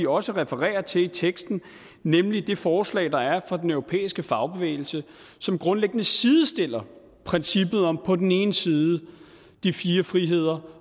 også refererer til i teksten nemlig det forslag der er fra den europæiske fagbevægelse som grundlæggende sidestiller princippet om på den ene side de fire friheder